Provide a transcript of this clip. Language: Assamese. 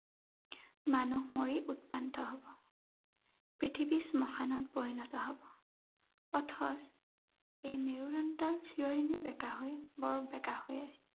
মানুহ মৰি উৎপান্ত হব। পৃথিৱী শ্মশানত পৰিণত হব। অথচ, এই মেৰুদণ্ডডাল চিৰদিনেই বেঁকা হৈ বৰ বেঁকা হৈ